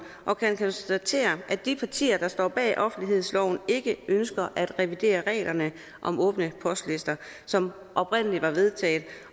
og kan konstatere at de partier der står bag offentlighedsloven ikke ønsker at revidere reglerne om åbne postlister som oprindelig var vedtaget